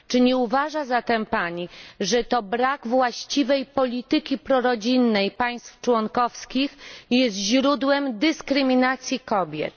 Czy nie uważa Pani zatem, że to brak właściwej polityki prorodzinnej państw członkowskich jest źródłem dyskryminacji kobiet?